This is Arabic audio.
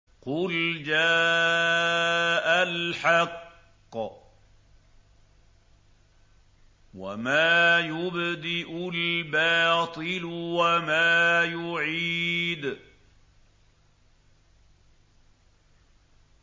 قُلْ جَاءَ الْحَقُّ وَمَا يُبْدِئُ الْبَاطِلُ وَمَا يُعِيدُ